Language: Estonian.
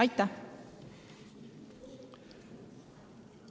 Aitäh!